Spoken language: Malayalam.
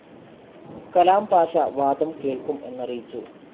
കലാംപാഷ വാദം കേൾക്കും എന്നറിയിച്ചു.